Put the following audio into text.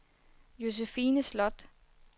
Josefine Sloth